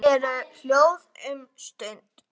Þau eru hljóð um stund.